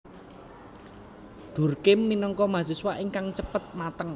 Durkheim minangka mahasiswa ingkang cepet mateng